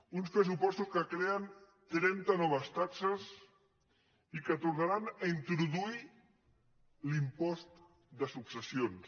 uns pressupostos que creen trenta noves taxes i que tornaran a introduir l’impost de successions